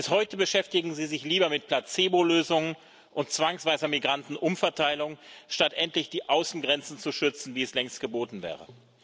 Bis heute beschäftigen Sie sich lieber mit Placebo Lösungen und zwangsweiser Migranten Umverteilung, statt endlich die Außengrenzen zu schützen, wie es längst geboten wäre.